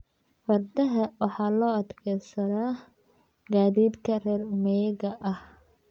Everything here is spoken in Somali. Fardaha waxa loo adeegsadaa gaadiidka reer miyiga ah.